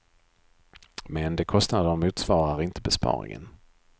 Men de kostnaderna motsvarar inte besparingen.